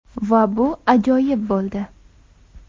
Va bu ajoyib bo‘ldi!